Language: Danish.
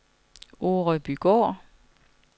Orebygård